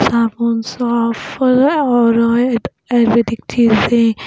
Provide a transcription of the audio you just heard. आसमान साफ है और एक रेलवे दिखती है यहाँ पे--